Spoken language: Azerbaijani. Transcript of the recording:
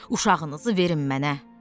Uşağınızı verin mənə.